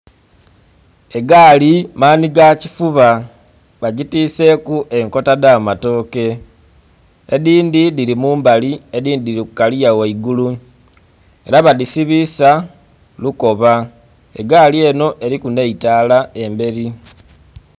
Egaali manhi ga kifuba bagitwiseku enkota dha matooke, edindhi dhili mu mbali edindhi dhili ku kaliya ghaigulu era badhisibisa lukoba, egaali enho eriku nhe etaala emberi.